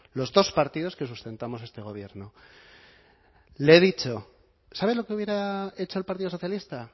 los dos partidos que sustentamos este gobierno le he dicho sabe lo que hubiera hecho el partido socialista